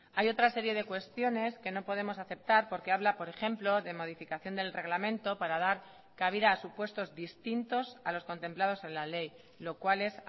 hay otra serie de cuestiones que no podemos aceptar porque habla por ejemplo de modificación del reglamento para dar cabida a supuestos distintos a los contemplados en la ley lo cual es